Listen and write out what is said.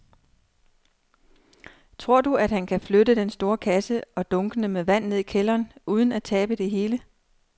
Tror du, at han kan flytte den store kasse og dunkene med vand ned i kælderen uden at tabe det hele?